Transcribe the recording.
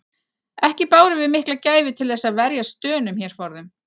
Ekki bárum við mikla gæfu til þess að verjast Dönum hér forðum.